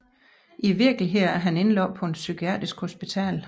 I virkeligheden er han indlagt på et psykiatrisk hospital